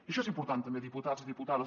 això és important també diputats i diputades